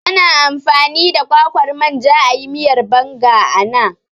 Ana amfani da kwakwar manja ayi miyar Banga ana